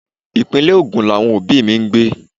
Ìpínlè Ogun làwọn òbí mi ń gbé.